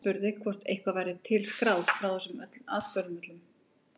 Jón spurði hvort eitthvað væri til skráð frá þessum atburðum öllum.